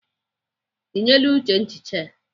Ị nyeela Uche nchicha ya?